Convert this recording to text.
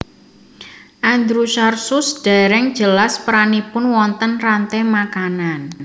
Andrewsarchus dereng jelas peranipun wonten rante makanan